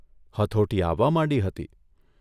હથોટી આવવા માંડી હતી.